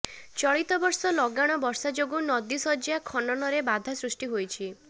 ଚଳିତ ବର୍ଷ ଲଗାଣ ବର୍ଷା ଯୋଗୁଁ ନଦୀ ଶଯ୍ୟା ଖନନରେ ବାଧା ସୃଷ୍ଟି କରିଛି